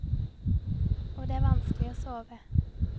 Og det er vanskelig å sove.